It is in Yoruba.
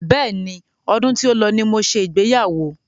Bẹ́ẹ̀ni, ọdún tí ó lọ ní mo ṣe ìgbéyàwó.